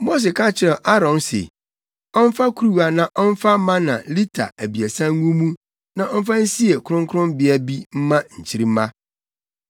Mose ka kyerɛɛ Aaron se ɔmfa kuruwa na ɔmfa mana lita abiɛsa ngu mu na ɔmfa nsie kronkronbea bi mma nkyirimma.